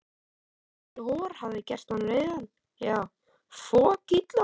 Þessi Halli hor hafði gert hann reiðan, já, fokillan.